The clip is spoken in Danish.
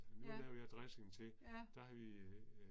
Ja. Ja